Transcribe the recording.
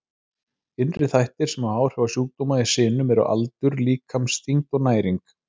Innri þættir sem hafa áhrif á sjúkdóma í sinum eru aldur, líkamsþyngd og næring.